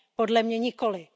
Podle mě nikoliv.